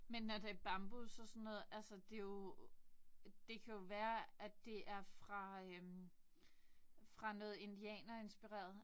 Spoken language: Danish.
Men når det bambus og sådan noget altså det jo det kan jo være at det fra øh fra noget indianerinspireret